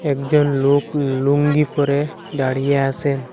একজন লোক লুঙ্গি পরে দাঁড়িয়ে আসেন।